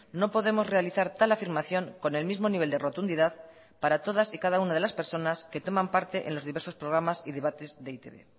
no podemos realizar tal afirmación con el mismo nivel de rotundidad para todas y cada una de las personas que toman parte en los diversos programas y debates de e i te be